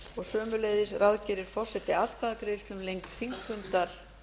og sömuleiðis ráðgerir forseti atkvæðagreiðslu um lengd þingfundar